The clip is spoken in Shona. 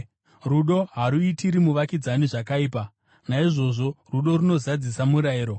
Rudo haruitiri muvakidzani zvakaipa. Naizvozvo rudo runozadzisa murayiro.